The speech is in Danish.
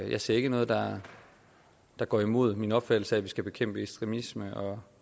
jeg ser ikke noget der der går imod min opfattelse af at vi skal bekæmpe ekstremisme og